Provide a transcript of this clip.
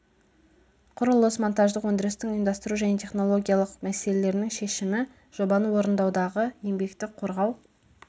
құрылыс монтаждық өндірістің ұйымдастыру және технологияның мәселелерінің шешімі жобаны орындаудағы еңбекті қорғау